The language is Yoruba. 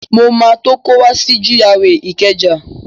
Mo máa tó kó wá si GRA Ìkẹjà